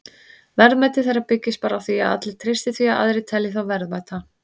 Verðmæti þeirra byggist bara á því að allir treysti því að aðrir telji þá verðmæta.